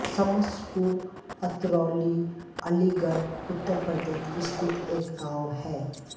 शमसपुर अतरौली अलीगढ़ उत्तर प्रदेश स्थित एक गाँव है